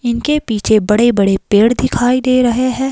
इनके पीछे बड़े-बड़े पेड़ दिखाई दे रहे हैं।